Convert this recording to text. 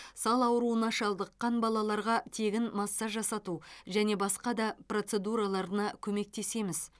сал ауруына шалдыққан балаларға тегін массаж жасату және басқа да процедураларына көмектесеміз